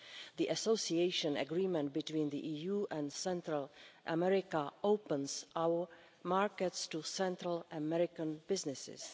The Association Agreement between the EU and Central America opens our markets to Central American businesses.